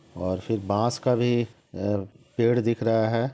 और फिर बांस का भी अ पेड़ दिख रहा है।